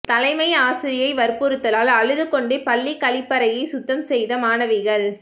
தலைமை ஆசிரியை வற்புறுத்தலால் அழுதுகொண்டே பள்ளிக் கழிப்பறையை சுத்தம் செய்த மாணவிகள்